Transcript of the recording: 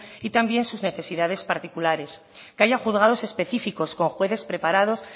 y también sus necesidades particulares que haya juzgados específicos con jueces preparados